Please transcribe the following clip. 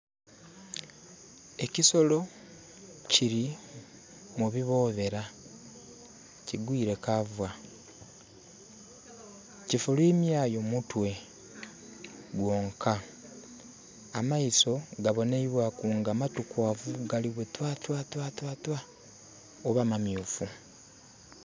Ekisolo kili mu biboobera, kigwiire cover. Kifulwimyayo mutwe gwonka. Amaiso gabonheibwaku nga matukwaavu bwe twa twa twa.... oba mamyufu.